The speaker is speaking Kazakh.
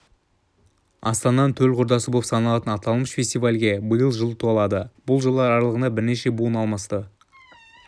астананың төл құрдасы болып саналатын аталмыш фестивальге биыл жыл толады бұл жылдар аралығында бірнеше буын алмасты